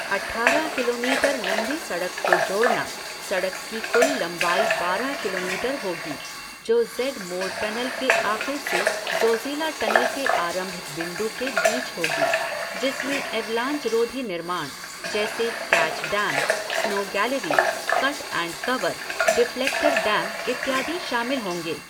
अट्ठारह किलोमीटर लंबी सड़क को जोड़ना, सड़क की कुल लंबाई बारह किलोमीटर होगी जो ज़ेड मोड़ टनल के आख़िर से ज़ोज़िला टनल के आरंभिक बिन्दु के बीच होगी जिसमें एवलांच रोधी निर्माण, जैसे catch dam, snow gallery, cut and cover, deflector dam इत्यादि शामिल होंगे।